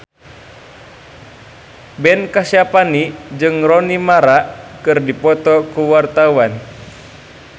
Ben Kasyafani jeung Rooney Mara keur dipoto ku wartawan